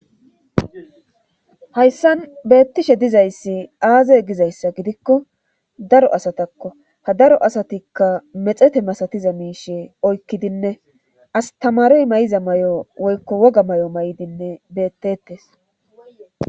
hayssan beettishe dizayssi aaze gizayssa gidikko daro asatakko ha daro asatikka mexete masatiza miishe oykkidinne astamarey may7iza may7o woykko woga may7o may7idinne beettettes